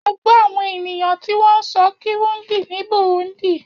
A gbọ́ àwọn ènìyàn tí wọ́n ń sọ Kirundi ní Burundi.